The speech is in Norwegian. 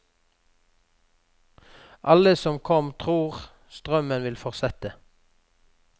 Alle som kom tror strømmen vil fortsette.